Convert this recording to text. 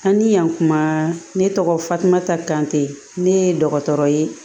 An ni yan kuma ne tɔgɔ fatumata kante ne ye dɔgɔtɔrɔ ye